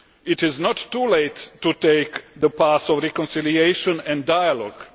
It is not too late to take the path of reconciliation and dialogue.